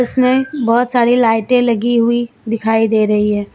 इसमें बहोत सारी लाइटें लगी हुई दिखाई दे रही है।